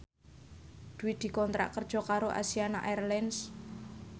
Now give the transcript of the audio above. Dwi dikontrak kerja karo Asiana Airlines